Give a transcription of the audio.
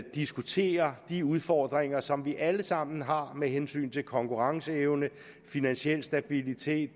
diskuterer de udfordringer som vi alle sammen har med hensyn til konkurrenceevne finansiel stabilitet